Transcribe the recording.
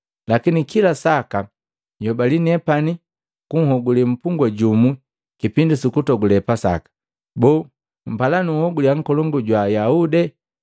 Lakini kila saka nhyobali nepani, nunhogule mpungwa jumu kipindi sukutogule Pasaka. Boo, mpala nunhoguliya nkolongu jwa Ayahude?”